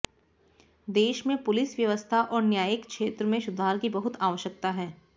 देश में पुलिस व्यवस्था और न्यायिक क्षेत्र में सुधार की बहुत आवश्यकता है